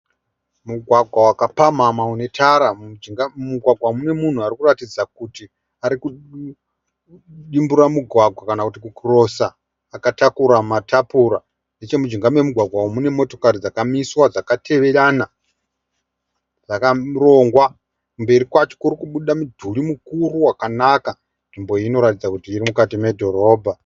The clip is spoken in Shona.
Mugwagwa wakapamhamha une tara mujinga. Mugwagwa uyu mune munhu anoratidza kuti arikudimbura mugwagwa kana kuti ku(crosser) akatakura matapura. Nechemujinga memugwagwa uyu mune motokari dzakamiswa dzakateverana dzakarongwa. Mberi kwacho kurikubuda mudhuri mukuru wakanaka. Nzvimbo iyi inoratidza kuti iri mukati medhorobha.